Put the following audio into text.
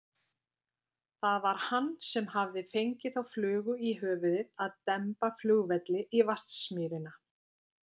Það var hann sem hafði fengið þá flugu í höfuðið að demba flugvelli í Vatnsmýrina.